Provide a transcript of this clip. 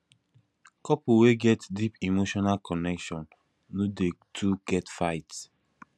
couple wey get deep emotional connection no dey too get fight